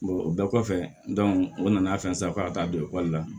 o bɛɛ kɔfɛ o nana fɛn san k'a ka taa don ekɔli la